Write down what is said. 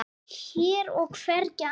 Hér og hvergi annars staðar.